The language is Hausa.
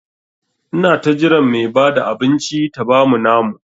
Ina ta jiran Mai Bada abinci ta bamu namu.